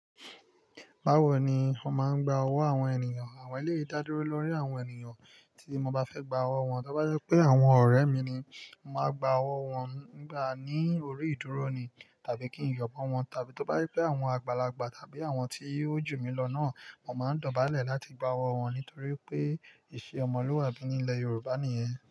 Bawo ni o máa ń gba owó àwọn ènìyàn? Àwọn eleyii da dúró lọ́ri àwọn ènìyàn tí mo bá fẹ́ gba owó wọn, tí ó bá jẹ pé àwọn ọ̀rẹ́ mi ni, màá gba owó wọn nígbà ní orí ìdúró ni tàbí kí n yọ̀ mo wọn, tàbí tí ó bá jẹ pé àwọn àgbàlagbà tàbí àwọn tí ojú mi lọ náà, mò máa n dọ̀bálẹ̀ láti gba owó wọn nítorí wipé ìṣe ọmọlúwàbí ní ilẹ̀ Yorùbá nìyẹn.